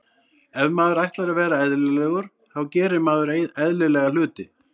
Ef maður ætlar að vera eðlilegur þá gerir maður eðlilega hluti.